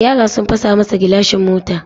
Yara sun fasa masa gilashin mota.